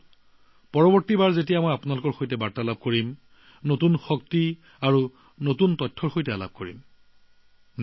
বন্ধুসকল আমি যেতিয়া পৰৱৰ্তী সময়ত আপোনালোকৰ লগত যোগাযোগ কৰিম তেতিয়া আপোনালোকক নতুন উৎসাহ নতুন তথ্যৰে সাক্ষাৎ কৰা হব